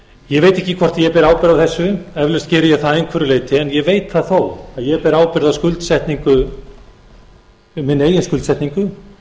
ég veit ekki hvort ég ber ábyrgð á þessu eflaust geri ég það að einhverju leyti en ég veit það þó að ég ber ábyrgð á minni eigin skuldsetningu